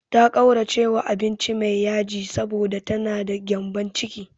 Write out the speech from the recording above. Ta ƙauracewa abinci mai yaji, saboda ta na da gyambon ciki.